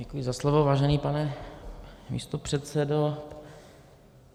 Děkuji za slovo, vážený pane místopředsedo.